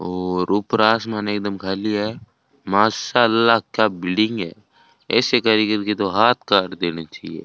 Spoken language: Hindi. और ऊपर आसमान एकदम खाली है माशाल्लाह क्या बिल्डिंग है ऐसे कारीगर के तो हाथ काट देने चाहिए।